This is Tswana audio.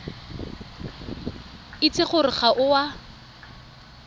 itse gore ga o a